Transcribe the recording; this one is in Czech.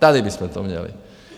Tady bychom to měli!